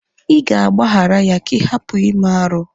Ị ga-agbaghara ya ka ị hapụ ime arụ.